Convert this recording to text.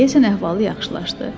Deyəsən əhvalı yaxşılaşdı.